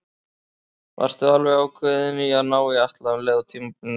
Varstu alveg ákveðinn í að ná í Atla um leið og tímabilinu lauk?